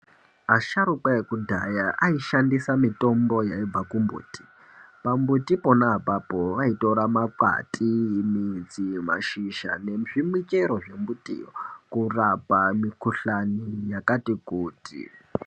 Asharuka akudhaya aishandisa mitombo yaibva kumbuti. Pambuti pona apapo vaitora makwati, midzi mashizha, nezvimichero zvembitiyo kurapa mikhuhlani yakati kuti.